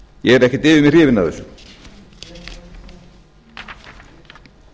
ég er ekkert yfir mig hrifinn af þessu í